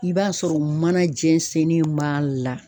I b'a sɔrɔ mana jɛnsennen b'a la.